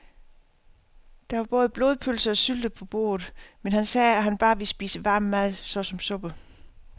Der var både blodpølse og sylte på bordet, men han sagde, at han bare ville spise varm mad såsom suppe.